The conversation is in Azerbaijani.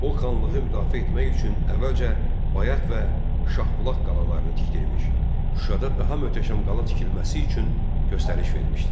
O xanlığı müdafiə etmək üçün əvvəlcə Bayat və Şahbulaq qalalarını tikdirmiş, Şuşada daha möhtəşəm qala tikilməsi üçün göstəriş vermişdi.